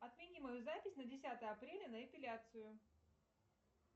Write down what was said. отмени мою запись на десятое апреля на эпиляцию